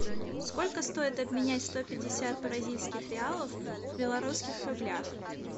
сколько стоит обменять сто пятьдесят бразильских реалов в белорусских рублях